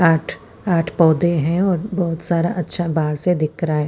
आठ आठ पोधे है और बहोत सारा अच्छा बाहर से दिख रहा है।